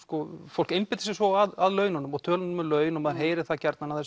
fólk einbeitir sér svo af laununum og tölum um laun og maður heyrir það gjarnan að